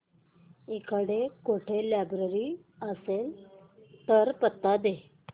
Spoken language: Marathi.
इकडे कुठे लायब्रेरी असेल तर पत्ता दे